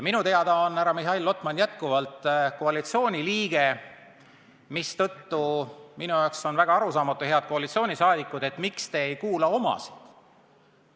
Minu teada on härra Mihhail Lotman endiselt koalitsiooniliige, mistõttu jääb mulle väga arusaamatuks, head koalitsiooniliikmed, miks te ei kuula omasid!